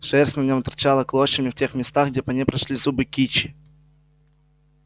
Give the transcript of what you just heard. шерсть на нем торчала клочьями в тех местах где по ней прошлись зубы кичи